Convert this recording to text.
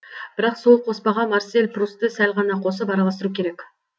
бірақ сол қоспаға марсель прусты сәл ғана қосып араластыру керек